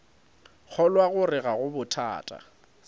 kgolwa gore ga go bothata